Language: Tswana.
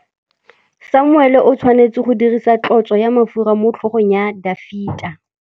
Samuele o tshwanetse go dirisa tlotsô ya mafura motlhôgong ya Dafita.